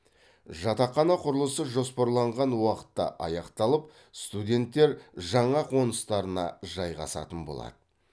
жатақхана құрылысы жоспарланған уақытта аяқталып студенттер жаңа қоныстарына жайғасатын болады